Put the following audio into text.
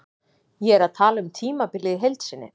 Ég er að tala um tímabilið í heild sinni.